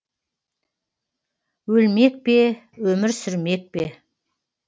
өлмек пе өмір сүрмек пе